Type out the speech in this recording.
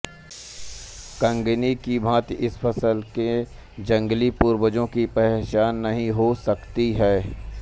कँगनी की भाँति इस फसल के जंगली पूर्वजों की पहचान नही हो सकी है